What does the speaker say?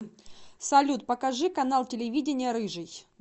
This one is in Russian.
салют покажи канал телевидения рыжий